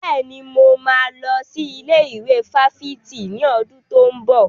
Bẹ́ẹ̀ni, mo máa lọ sí ilé ìwé fáfitì ní ọdún tó ń bọ̀.